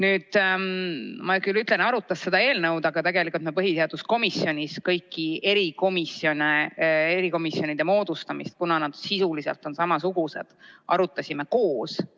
Ma küll ütlen, et "arutas seda eelnõu", aga tegelikult me põhiseaduskomisjonis arutasime kõikide erikomisjonide moodustamist, kuna nad sisuliselt on samasugused, koos.